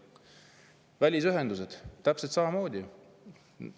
Välisühendustega on täpselt samamoodi.